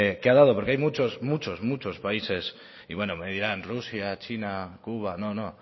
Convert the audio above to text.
que ha dado porque hay muchos países y me dirán rusia china cuba no no